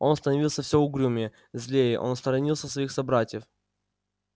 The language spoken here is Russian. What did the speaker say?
он становился всё угрюмее злее он сторонился своих собратьев